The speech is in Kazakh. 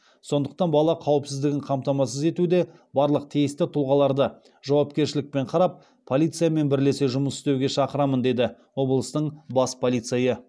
сондықтан бала қауіпсіздігін қамтамасыз етуде барлық тиісті тұлғаларды жауапкершілікпен қарап полициямен бірлесе жұмыс істеуге шақырамын деді облыстың бас полицейі